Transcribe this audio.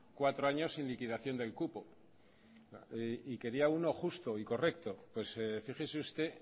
cuatro años sin liquidación del cupo y quería uno justo y correcto pues fíjese usted